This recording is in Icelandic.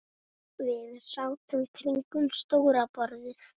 Við sátum kringum stóra borðið.